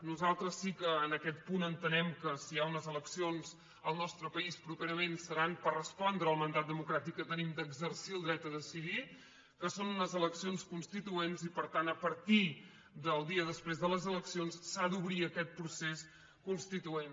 nosaltres sí que en aquest punt entenem que si hi ha unes elec·cions al nostre país properament seran per respondre al mandat democràtic que tenim d’exercir el dret a de·cidir que són unes eleccions constituents i per tant a partir del dia després de les eleccions s’ha d’obrir aquest procés constituent